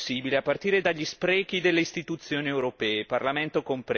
Domani vediamo chi voterà tra di noi per ridurre queste inutili spese.